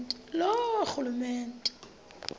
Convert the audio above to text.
loorhulumente